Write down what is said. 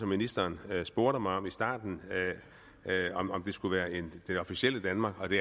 ministeren spurgte mig også i starten om det skulle være det officielle danmark og det